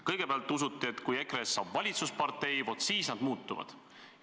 Kõigepealt usuti, et kui EKRE-st saab valitsuspartei, vaat siis nad muutuvad.